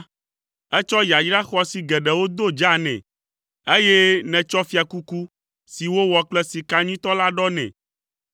Ètsɔ yayra xɔasi geɖewo do dza nɛ, eye nètsɔ fiakuku si wowɔ kple sika nyuitɔ la ɖɔ nɛ.